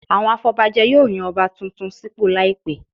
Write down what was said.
Àwọn afọbajẹ yóò yan Ọba tuntun sípò láìpẹ̀